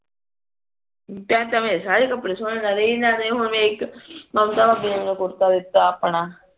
ਸਾਰੇ ਕੱਪੜੇ ਸੋਹਣੇ ਲੱਲੇ ਨਾਲੇ ਜਿਵੇਂ ਹੁਣ ਇੱਕ ਮਮਤਾ ਨੂੰ ਕੁੜਤਾ ਦਿੱਤਾ ਆਪਣਾ